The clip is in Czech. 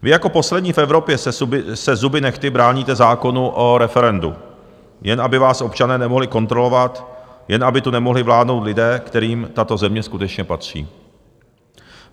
Vy jako poslední v Evropě se zuby nehty bráníte zákonu o referendu, jen aby vás občané nemohli kontrolovat, jen aby tu nemohli vládnout lidé, kterým tato země skutečně patří.